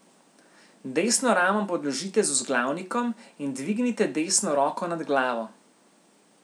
Desno ramo podložite z vzglavnikom in dvignite desno roko nad glavo.